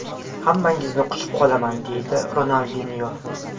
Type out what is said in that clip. Hammangizni quchib qolaman”, deydi Ronaldinyo.